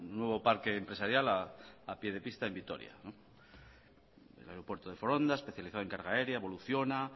nuevo parque empresarial a pie de pista en vitoria el aeropuerto de foronda especializado en carga área evoluciona